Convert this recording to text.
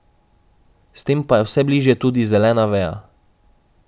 S tem pa je vse bližje tudi zelena veja.